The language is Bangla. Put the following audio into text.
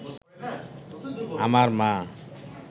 আমার মা